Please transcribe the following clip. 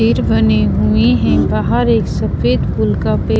पेड़ बने हुए है बाहर एक सफेद फूल का पे--